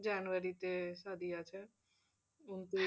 January তে সাদি আছে।